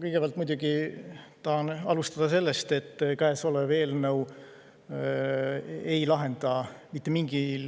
Kõigepealt muidugi tahan alustada sellest, et kõnealune eelnõu ei